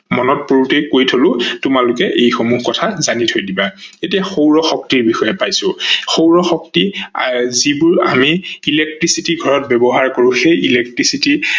মনত পৰোতেই কৈ থলো তোমালোকে এইসমূহ কথা জানি থৈ দিৱা। এতিয়া সৌৰ শক্তিৰ বিষয়ে পাইছো, সৌৰ শক্তি যিবোৰ আমি electricity ঘৰত ব্যৱহাৰ কৰো সেই electricity